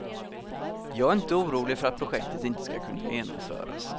Jag är inte orolig för att projektet inte ska kunna genomföras.